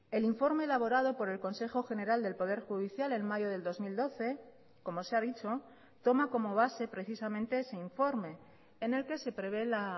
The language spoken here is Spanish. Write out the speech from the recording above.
el informe elaborado por el consejo general del poder judicial en mayo del dos mil doce como se ha dicho toma como base precisamente ese informe en el que se prevé la